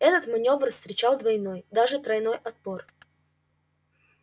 этот манёвр встречал двойной даже тройной отпор